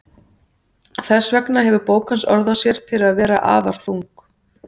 Þess vegna hefur bók hans orð á sér fyrir að vera afar þung.